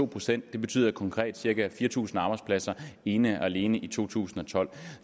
procent betyder konkret cirka fire tusind arbejdspladser ene og alene i to tusind og tolv